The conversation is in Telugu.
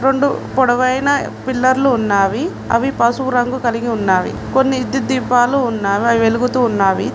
రెండు పొడవైన పిల్లర్లు ఉన్నావి అవి పసుపు రంగు కలిగి ఉన్నావి కొన్ని విద్యుత్ దీపాలు ఉన్నావి అవి వెలుగుతూ ఉన్నావి.